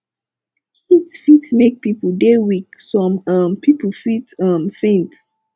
heat fit make pipo dey weak some um pipo fit um faint